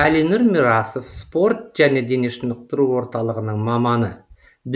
әлинұр мирасов спорт және дене шынықтыру орталығының маманы